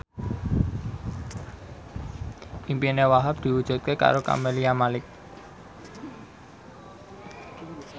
impine Wahhab diwujudke karo Camelia Malik